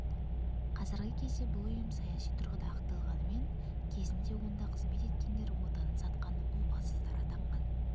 қазіргі кезде бұл ұйым саяси тұрғыда ақталғанымен кезінде онда қызмет еткендер отанын сатқан опасыздар атанған